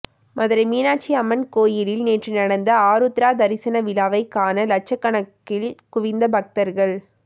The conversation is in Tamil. மதுரை மீனாட்சி அம்மன் கோயிலில் நேற்று நடந்த ஆருத்ரா தரிசன விழாவை காண லட்சக்கணக்கில் குவிந்த பக்தர்கள்